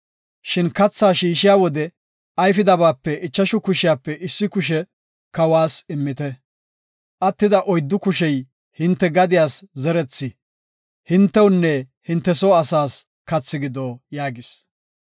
Shin kathaa shiishiya wode ayfidabape ichashu kushiyape issi kushiya kawas immite. Attida oyddu kushey hinte gadiyas zerethi, hintewunne hinte soo asaas kathi gido” yaagis.